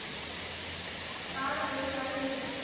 काढ वेळ काढ कधी.